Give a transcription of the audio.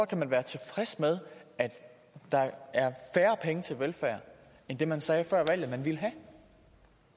kan være tilfreds med at der er færre penge til velfærd end det man sagde før valget at man ville have